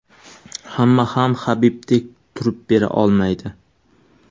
Hamma ham Habibdek turib bera olmaydi.